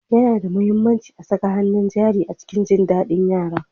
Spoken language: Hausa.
Yana da mahimmanci a saka hannun jari a cikin jin daɗin yara.